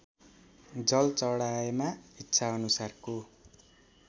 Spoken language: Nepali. जल चढाएमा इच्छाअनुसारको